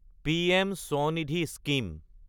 PM Svanidhi scheme